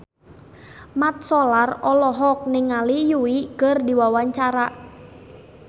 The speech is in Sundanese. Mat Solar olohok ningali Yui keur diwawancara